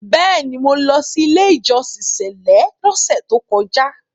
Bẹ́ẹ̀ni, mo lọ sí “ ilé-ìjọsìn sẹ̀lẹ́” lọ́sẹ̀ tókọjá.